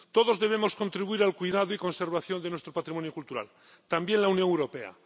Todos debemos contribuir al cuidado y conservación de nuestro patrimonio cultural, también la Unión Europea.